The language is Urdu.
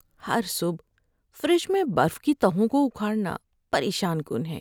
ہر صبح فریج میں برف کی تہوں کو اکھاڑنا پریشان کن ہے۔